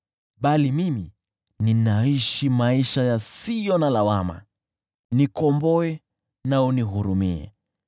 Bali mimi ninaishi maisha yasiyo na lawama; nikomboe na unihurumie.